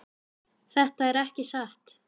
Þetta er ekki satt!